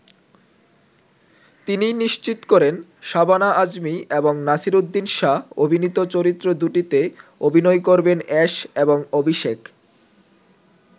তিনিই নিশ্চিত করেন শাবানা আজমী এবং নাসিরুদ্দিন শাহ অভিনীত চরিত্র দুটিতে অভিনয় করবেন অ্যাশ এবং অভিষেক।